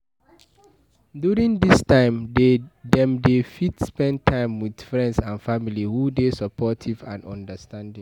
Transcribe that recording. during this time, dem dey fit spend time with friends and family who dey supportive and understanding